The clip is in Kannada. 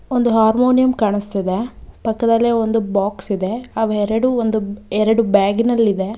ಒಂದು ಹಾರ್ಮೋನಿಯಂ ಕಾಣಿಸ್ತಿದೆ ಪಕ್ಕದಲ್ಲಿ ಒಂದು ಬಾಕ್ಸ್ ಇದೆ ಅವೆರಡೂ ಒಂದು ಎರಡು ಬ್ಯಾಗಿನಲ್ಲಿದೆ.